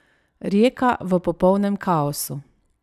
Rijeka v popolnem kaosu.